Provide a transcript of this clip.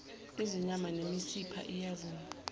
izinyama nemisipha iyason